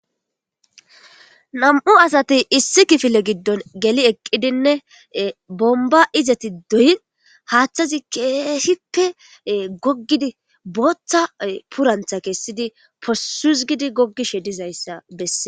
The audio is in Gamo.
Nam'u asati issi kifile giddon geli eqidinne bomba izati doyi haaththazi keesippe goggidi botha purantha kesidi possuzgidi gogishe dizayssa besees.